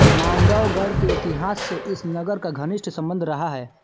मांडवगढ़ के इतिहास से इस नगर का घनिष्ट सम्बंध रहा है